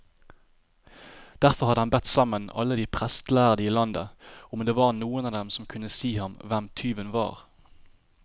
Derfor hadde han bedt sammen alle de prestlærde i landet, om det var noen av dem som kunne si ham hvem tyven var.